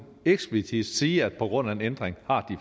eksplicit sige at på grund af en ændring har